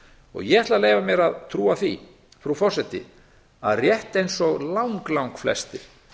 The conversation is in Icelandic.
og ég ætla að leyfa mér að trúa því frú forseti að rétt eins og langflestir